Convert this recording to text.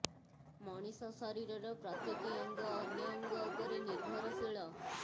ମଣିଷ ଶରୀରର ପ୍ରତିଟି ଅଙ୍ଗ ଅନ୍ୟ ଅଙ୍ଗ ଉପରେ ନିର୍ଭରଶୀଳ